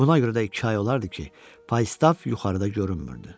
Buna görə də iki ay olardı ki, Faistav yuxarıda görünmürdü.